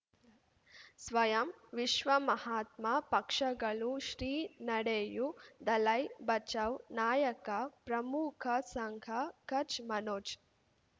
ಸ್ವಯಂ ವಿಶ್ವ ಮಹಾತ್ಮ ಪಕ್ಷಗಳು ಶ್ರೀ ನಡೆಯೂ ದಲೈ ಬಚೌ ನಾಯಕ ಪ್ರಮುಖ ಸಂಘ ಕಚ್ ಮನೋಜ್